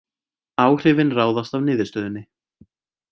Áhrifin ráðast af niðurstöðunni